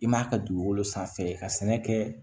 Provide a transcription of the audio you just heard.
I m'a ka dugukolo sanfɛ i ka sɛnɛ kɛ